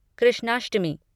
Krishnashtami